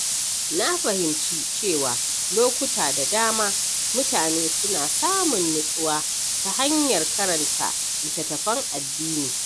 Na fahimci cewa lokuta da dama, mutane suna samun nutsuwa ta hanyar karanta littattafan addini.